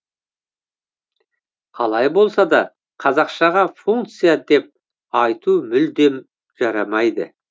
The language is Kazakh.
қалай болса да қазақшаға функция деп айту мүлде жарамайды